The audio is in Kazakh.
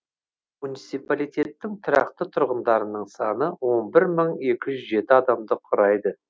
муниципалитеттің тұрақты тұрғындарының саны он бір мың екі жүз жеті адамды құрайды